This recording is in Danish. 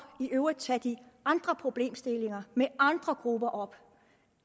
i øvrigt tage de andre problemstillinger med andre grupper op